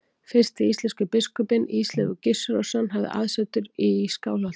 Fyrsti íslenski biskupinn, Ísleifur Gissurarson, hafði aðsetur í Skálholti.